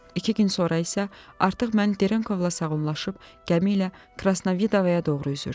İki gün sonra isə artıq mən Derenkovla sağollaşıb gəmi ilə Krasnavidovaya doğru üzürdüm.